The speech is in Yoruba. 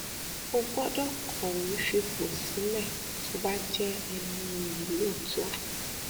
ó gbọdọ kọwé fipò sílẹ tó bá jẹ ẹni iyì lóòótọ